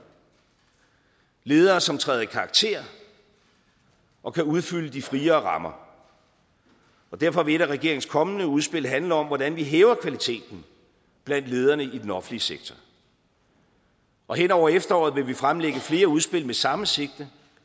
ledere som træder i karakter og kan udfylde de friere rammer derfor vil et af regeringens kommende udspil handle om hvordan vi hæver kvaliteten blandt lederne i den offentlige sektor hen over efteråret vil vi fremlægge flere udspil med samme sigte